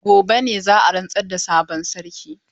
Gobe ne za a rantsar da sabon sarki.